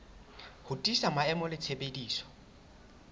ho tiisa maemo le tshebediso